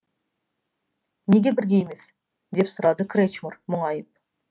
неге бірге емес деп сұрады кречмар мұңайып